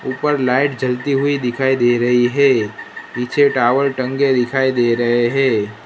ऊपर लाइट जलती हुई दिखाई दे रही है पीछे टावल टंगे दिखाई दे रहे हैं।